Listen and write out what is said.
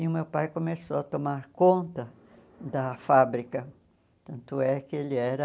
E o meu pai começou a tomar conta da fábrica, tanto é que ele era...